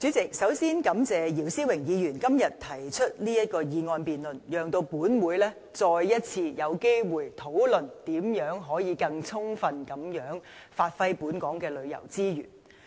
主席，首先感謝姚思榮議員今天提出這項議案辯論，讓本會再一次有機會，討論如何充分地發揮本港旅遊資源的優勢。